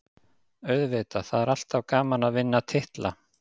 Auðvitað, það er alltaf gaman að vinna titla.